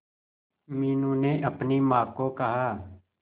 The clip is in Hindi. मीनू ने अपनी मां को कहा